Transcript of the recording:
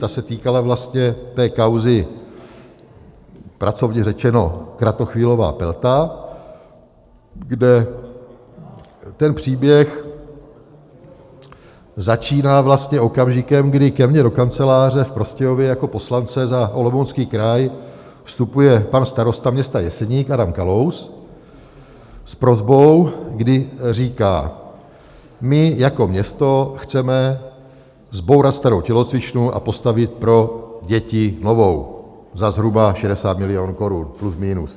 Ta se týkala vlastně té kauzy pracovně řečeno Kratochvílová, Pelta, kde ten příběh začíná vlastně okamžikem, kdy ke mně do kanceláře v Prostějově jako poslance za Olomoucký kraj vstupuje pan starosta města Jeseník Adam Kalous s prosbou, kdy říká: My jako město chceme zbourat starou tělocvičnu a postavit pro děti novou za zhruba 60 milionů korun, plus minus.